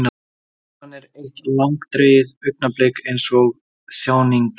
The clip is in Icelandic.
Sælan er eitt langdregið augnablik eins og þjáningin.